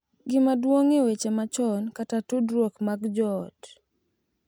Gima duong’ e weche machon, kata tudruok mag joot.